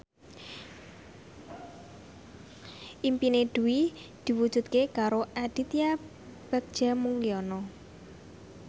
impine Dwi diwujudke karo Aditya Bagja Mulyana